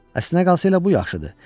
Əslinə qalsa elə bu yaxşıdır.